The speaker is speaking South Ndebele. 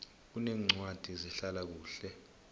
kuneencwadi zehlala kuhle